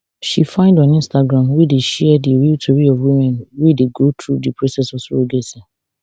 she find on instagram wey dey share di real tori of women wey dey go through di process of surrogacy